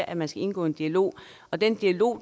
at man skal indgå en dialog den dialog